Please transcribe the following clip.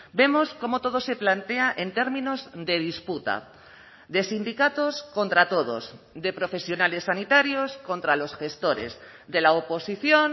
vemos cómo todo se plantea en términos de disputa de sindicatos contra todos de profesionales sanitarios contra los gestores de la oposición